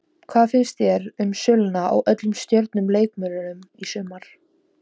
Hvað finnst þér um söluna á öllum stjörnu leikmönnunum í sumar?